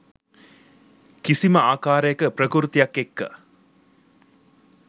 කිසිම ආකාරයක ප්‍රකෘතියක් එක්ක.